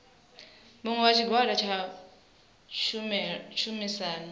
muṅwe wa tshigwada tsha tshumisano